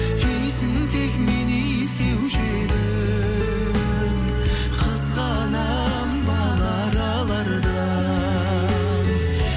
иісін тек мен иіскеуші едім қызғанамын бал аралардан